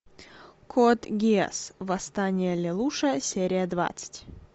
код гиас восстание лелуша серия двадцать